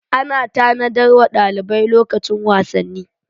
Ana tanadar wa dalibai lokacin wasanni.